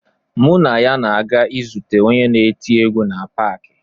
Mụ na ya na-aga izute onye na-eti egwu na paakị.